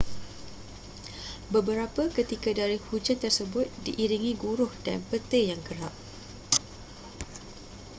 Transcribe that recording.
beberapa ketika dari hujan tersebut diiringi guruh dan petir yang kerap